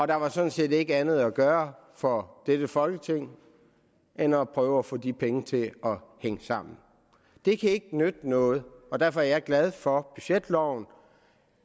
der var sådan set ikke andet at gøre for dette folketing end at prøve at få de penge til at hænge sammen det kan ikke nytte noget og derfor er jeg glad for budgetloven og